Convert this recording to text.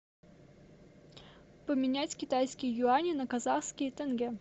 поменять китайские юани на казахские тенге